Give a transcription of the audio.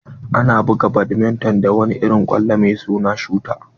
Ana buga badminton da wani irin kwallo mai suna shuta.